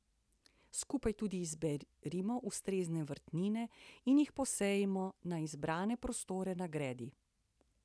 Skupaj tudi izberimo ustrezne vrtnine in jih posejmo na izbrane prostore na gredi.